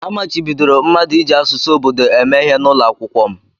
A machibidoro mmadụ iji asụsụ obodo eme ihe n'ụlọ akwụkwọ m.